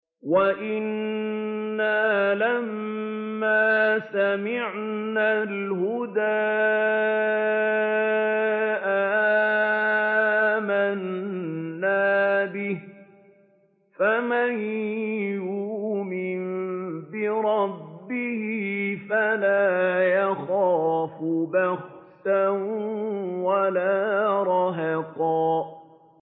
وَأَنَّا لَمَّا سَمِعْنَا الْهُدَىٰ آمَنَّا بِهِ ۖ فَمَن يُؤْمِن بِرَبِّهِ فَلَا يَخَافُ بَخْسًا وَلَا رَهَقًا